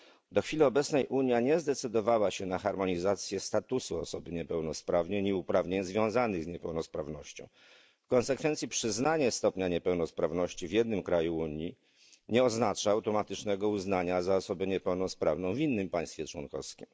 Do chwili obecnej Unia nie zdecydowała się na harmonizację statusu osoby niepełnosprawnej i uprawnień związanych z niepełnosprawnością. W konsekwencji przyznanie stopnia niepełnosprawności w jednym kraju Unii nie oznacza automatycznego uznania za osobę niepełnosprawną w innym państwie członkowskim.